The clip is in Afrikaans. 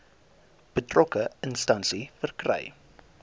betrokke instansie verkry